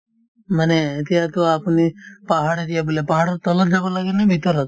মানে এতিয়াতো আপুনি পাহাৰ area বোলে পাহাৰৰ তলত যাব লাগে নে ভিতৰত ?